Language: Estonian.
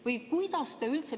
Või kuidas üldse ...